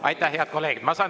Aitäh, head kolleegid!